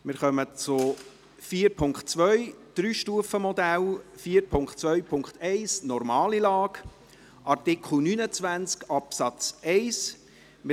Wir kommen zu den Kapiteln «4.2 Drei-Stufen-Modell», «4.2.1 Normale Lage» und zu Artikel 29 Absatz 1.